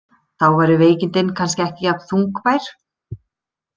Þá væru veikindin kannski ekki jafn þungbær.